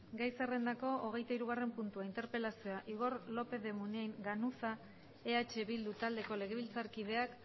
gai zerrendako hogeitahirugarren puntua interpelazioa igor lópez de munain ganuza eh bildu taldeko legebiltzarkideak